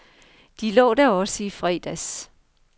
De lå der også i fredags.